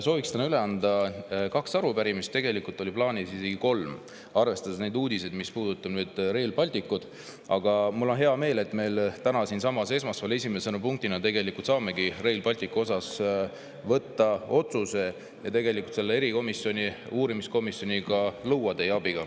Sooviks täna üle anda kaks arupärimist, tegelikult oli plaanis anda isegi kolm, arvestades neid uudiseid, mis puudutavad Rail Balticut, aga mul on hea meel, et me täna, esmaspäeval saamegi siinsamas tegelikult esimese punktina võtta vastu otsuse Rail Balticu asjus ja luua teie abiga selle uurimiskomisjoni.